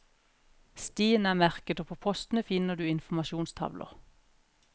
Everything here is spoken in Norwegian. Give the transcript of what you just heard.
Stien er merket og på postene finner du informasjonstavler.